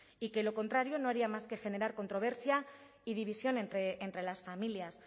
y que lo contrario no haría más que generar controversia y división entre las familias